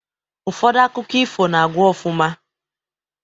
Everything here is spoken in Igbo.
Ụfọdụ akụkọ ifo na-agwụ ofụma